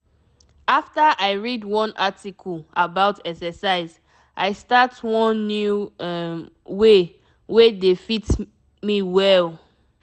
after i read one article about exercise i start one new um way wey dey fit me well.